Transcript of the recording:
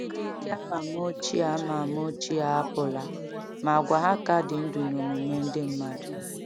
Ndị dike ama ama ochie ama ama ochie apụla, ma àgwà ha ka dị ndụ n’omume ndị mmadụ.